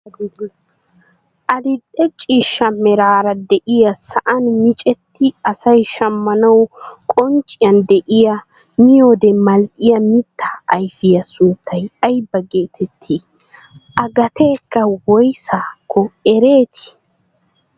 Adil'e ciishsha meraara de'iyaa sa'aan miccetti asay shammanwu qoncciyaan de'iyaa miyoode mal"iyaa mittaa ayfiyaa sunttay ayba getettii? a gateekka woysaa ekkii?